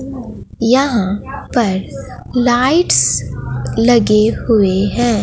यहां पर लाइट्स लगे हुए हैं।